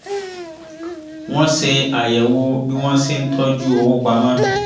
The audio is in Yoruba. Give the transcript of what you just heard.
wọ́n ṣe àyẹ̀wò bí wọ́n ṣe ń tọ́jú owó pamọ́